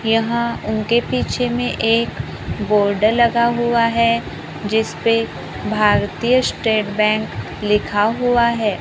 यहां उनके पीछे में एक बोर्ड लगा हुआ है जिसपे भारतीय स्टेट बैंक लिखा हुआ है।